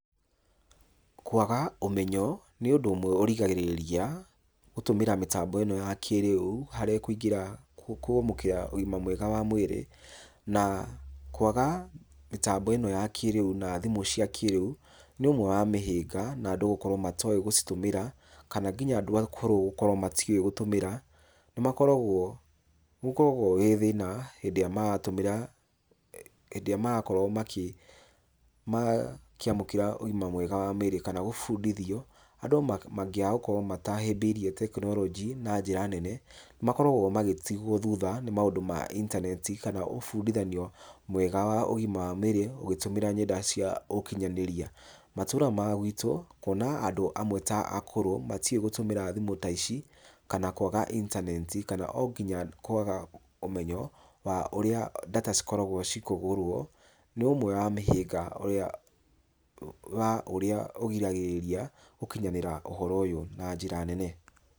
Kwaga ũmenyo, nĩ ũndũ umwe ũrigagĩrĩria ,gũtũmĩra mĩtambo ĩno ya kĩrĩu, harĩ kũingĩra kwamũkĩra ũgĩma mwega wa mwĩrĩ. Na, kwaga, mĩtambo ĩno ya kĩrĩu ,na thimu cĩa kĩrĩu nĩ ũmwe wa mĩhĩnga, na andũ gũkorwo matoĩ gũcitũmĩra, kana nginya andũ akũrũ gũkorwo matoĩ gũtũmĩra, nĩmakoragwo, nĩgũkoragwo gwĩ thĩna gwĩ thĩna hĩndĩ ĩrĩa maratũmĩra. Hĩndĩ ĩrĩa marakorwo makĩamũkĩra ũgima mwega wa mwĩrĩ . Kana kũbũndithio andũ mangĩkorwo matahĩmbĩirie technology na njĩra nene. Nĩmakoragwo magĩtigwo thutha nĩ maũndũ ma internet kana ũbundithanio , mwega wa ũgima wa mwĩrĩ, ũgĩtũmĩra ng'enda cia ũkinyanĩrĩa. Matũũra ma gwitũ kuona andũ amwe ta akũrũ, matiũĩ gũtũmĩra thimũ ta ici, kana kwaga internet kana o nginya kwaga ũmenyo, wa ũrĩa data cikoragwo cikĩgũrwo, nĩ ũmwe wa mĩhĩnga wa ũrĩa wa ũrĩa ũgiragĩrĩria gũkinyanĩra ũhoro ũyũ, na njĩra nene.